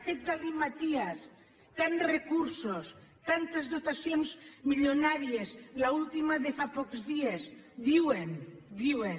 aquest galimaties tants recursos tantes dotacions milionàries l’última de fa pocs dies diuen ho diuen